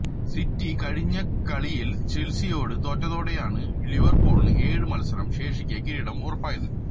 city കഴിഞ്ഞ കളിയില് ചെല്സിയോട് തോറ്റതോടെയാണ് ലിവര്പൂളിന് ഏഴ് മത്സരം ശേഷിക്കെ കിരീടം ഉറപ്പായത്